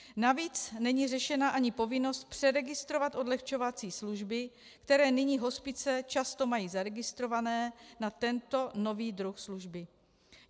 Navíc není řešena ani povinnost přeregistrovat odlehčovací služby, které nyní hospice často mají zaregistrovány na tento nový druh služby.